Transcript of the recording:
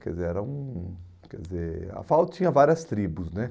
Quer dizer, era um, quer dizer, a FAU tinha várias tribos, né?